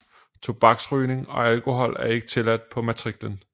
Tobaksrygning og alkohol er ikke tilladt på matriklen